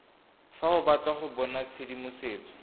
fa o batla go bonatshedimosetso